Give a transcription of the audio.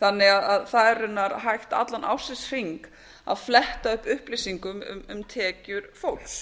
þannig að það er raunar hægt allan ársins hring að fletta upp upplýsingum um tekjur fólks